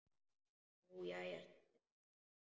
Nú jæja sagði Dadda.